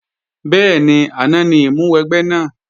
Bẹ́ẹ̀ni, àná ní ìmúwẹgbẹ́ náà